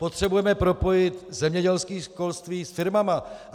Potřebujeme propojit zemědělské školství s firmami.